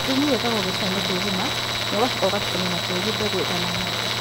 Thumu ũigagwo gĩtinainĩ kĩa irima na ũgacoka ũgatukanio na tĩĩri mbegũ ĩtanahandwo